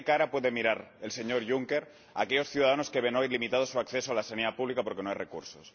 ¿Con qué cara puede mirar el señor Juncker a aquellos ciudadanos que ven hoy limitado su acceso a la sanidad pública porque no hay recursos?